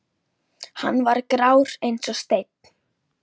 Hann var grár eins og steinn.